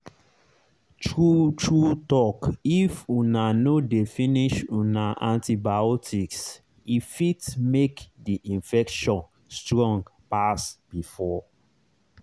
true true talkif una no dey finish una antibiotics e fit make the infection strong pass before.